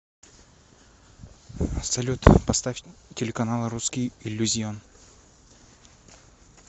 салют поставь телеканал русский иллюзион